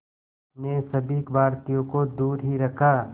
ने सभी भारतीयों को दूर ही रखा